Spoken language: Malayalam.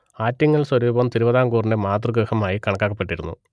ആറ്റിങ്ങൽ സ്വരൂപം തിരുവിതാംകൂറിന്റെ മാതൃഗൃഹമായി കണക്കാക്കപ്പെട്ടിരുന്നു